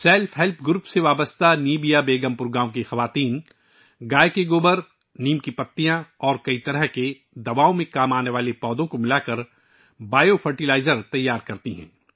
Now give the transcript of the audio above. self help گروپوں سے وابستہ نبیہ بیگم پور گاؤں کی عورتیں گائے کے گوبر، نیم کے پتے اور کئی طرح کے دواؤں کے پودوں کو ملا کر بائیو فرٹیلائزر تیار کرتی ہیں